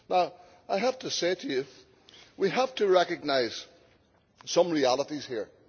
Now I have to say to you, we have to recognise some realities here.